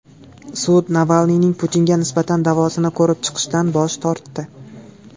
Sud Navalniyning Putinga nisbatan da’vosini ko‘rib chiqishdan bosh tortdi .